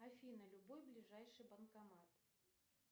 афина любой ближайший банкомат